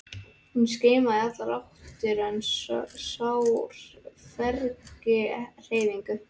Hún skimaði í allar áttir en sá hvergi hreyfingu.